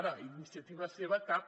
ara d’iniciativa seva cap